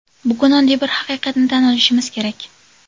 Bugun oddiy bir haqiqatni tan olishimiz kerak.